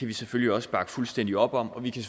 vi selvfølgelig også bakke fuldstændig op om og vi kan